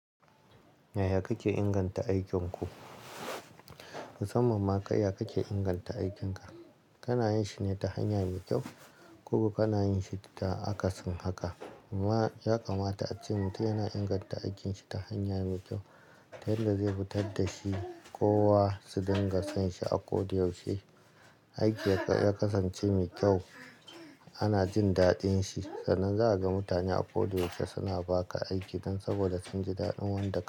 Yaya kake inganta aikin ku? Musamman ma, kai ya kake inganta aikinka? Kana yin shi ne ta hanya mai kyau ko ko kana yin shi ta akasin haka? Ya kamata ace mutum yana inganta aikinshi ta hanya mai kyau, yanda zai fitar da shi, kowa su dinga son shi a ko da yaushe. Aiki ya kasance mai kyau, ana jin daɗin shi. Sannan za ka ga mutane a ko da yaushe suna ba ka aiki dan saboda sun ji daɗin wanda ka yi.